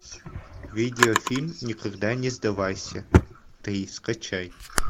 видеофильм никогда не сдавайся три скачай